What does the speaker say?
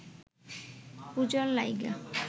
পূজার লাইগা